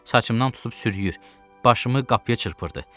Saçımdan tutub sürüyür, başımı qapıya çırpırdı.